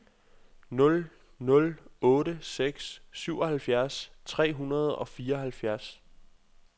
nul nul otte seks syvoghalvfjerds tre hundrede og fireoghalvfems